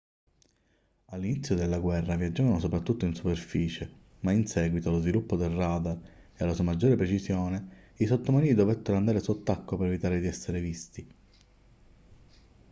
all'inizio della guerra viaggiavano soprattutto in superficie ma in seguito allo sviluppo del radar e alla sua maggiore precisione i sottomarini dovettero andare sott'acqua per evitare di essere visti